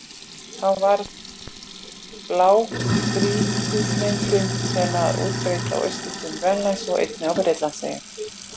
Þá varð til blágrýtismyndunin sem er útbreidd á austurströnd Grænlands og einnig á Bretlandseyjum.